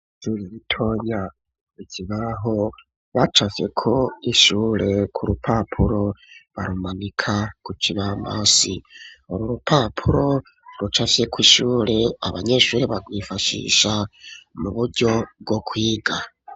Ijuru ritonya ikibaho bacafyeko ishure ku rupapuro barumanika ku kibambazi ururupapuro rucapfyeko ishure abanyeshuri bagwifashisha mu buryo bwo kwiga.